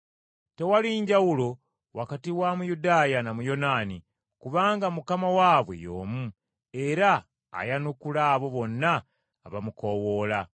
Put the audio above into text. Tewali njawulo wakati wa Muyudaaya na Muyonaani, kubanga Mukama waabwe y’omu era ayanukula abo bonna abamukoowoola.